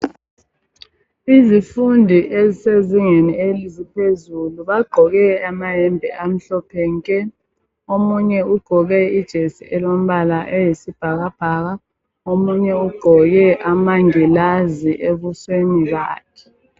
Izifundi ezisezingeni eliphezulu bagqoke amahembe amhlophe nke omunye ugqoke ijesi elombala eyisibhaka bhaka omunye ugqoke amangilazi ebusweni bakhe.